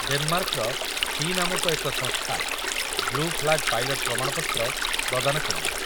ଡେନମାର୍କର FEE ନାମକ ଏକ ସଂସ୍ଥା ବ୍ଲୁ ଫ୍ଲାଗ ପାଇଲଟ ପ୍ରମାଣପତ୍ର ପ୍ରଦାନ କରିବ ।